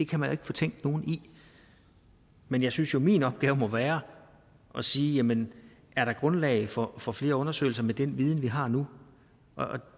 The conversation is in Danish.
kan man ikke fortænke nogen i men jeg synes jo at min opgave må være at sige jamen er der grundlag for for flere undersøgelser med den viden vi har nu og